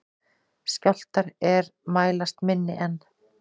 Skjálftar er mælast minni en